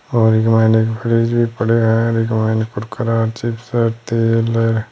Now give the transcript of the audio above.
और फ्रिज भी पड़े है चिप्स है तेल है।